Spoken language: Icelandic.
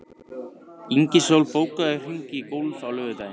Ingisól, bókaðu hring í golf á laugardaginn.